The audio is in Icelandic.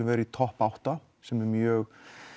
vera í topp átta sem er mjög